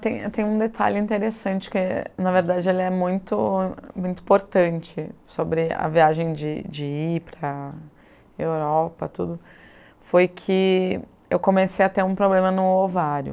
Tem tem um detalhe interessante, que na verdade ele é muito muito importante sobre a viagem de de ir para a Europa, foi que eu comecei a ter um problema no ovário.